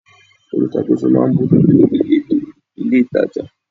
Olùṣàkóso máa ń bójú tó ìletò ilé-itàjà.